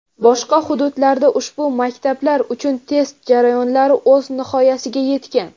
boshqa hududlarda ushbu maktablar uchun test jarayonlari o‘z nihoyasiga yetgan.